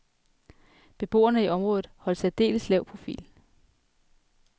Beboerne i området holdt særdeles lav profil.